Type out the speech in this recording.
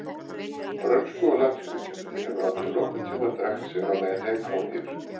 Frönsku- og latínukennari hefur aldrei nokkurn tímann drekkt sér á leið heim frá mér.